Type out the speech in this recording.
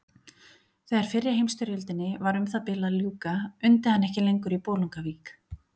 Þegar fyrri heimsstyrjöldinni var um það bil að ljúka undi hann ekki lengur í Bolungarvík.